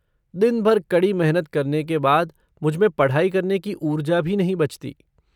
दिन भर कड़ी मेहनत करने के बाद मुझमें पढ़ाई करने की ऊर्जा भी नहीं बचती।